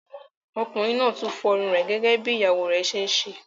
Ọkùnrin náà tún ń fọ́ irun rẹ̀ gẹ́gẹ́ bí ìyàwó rẹ̀ ṣe ń ṣe.